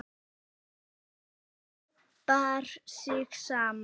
Hniprar sig saman.